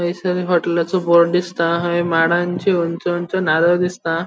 थंयसर होटेलाचो बोर्ड दिसता हय माडांची उंच उंच नारळ दिसता.